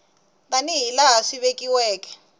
tani hi laha swi vekiweke